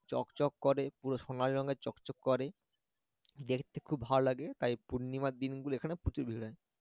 চকচক করে পুরো সোনালী রঙের চকচক করে দেখতে খুব ভালো লাগে তাই পূর্ণিমার দিনগুলো এখানে প্রচুর ভিড় হয়